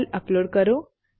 file upload કરો